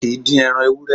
A kìí dín ẹran ewúré